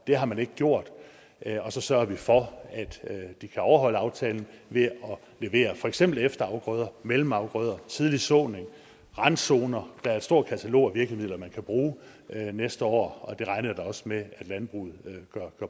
det har man ikke gjort og så sørger vi for at de kan overholde aftalen ved at levere for eksempel efterafgrøder mellemafgrøder tidlig såning randzoner der er et stort katalog af virkemidler man kan bruge næste år og det regner jeg da også med at landbruget gør